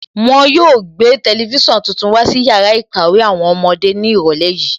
Wọn yóò gbé tẹlifísàn tuntun wá sí yàrá ìkàwé àwọn ọmọdé ní ìrọ̀lẹ́ yìí